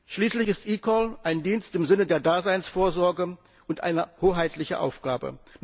Schließlich ist eCall ein Dienst im Sinne der Daseinsvorsorge und eine hoheitliche Aufgabe.